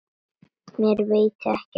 Mér veitir ekki af henni.